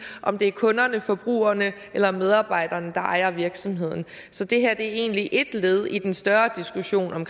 om det er kunderne forbrugerne eller medarbejderne der ejer virksomheden så det er egentlig et led i en større diskussion om